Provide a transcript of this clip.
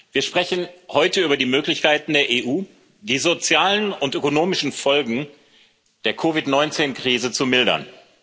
Wir sprechen heute über die Möglichkeiten der EU, die sozialen und ökonomischen Folgen der COVID 19 Krise zu mildern.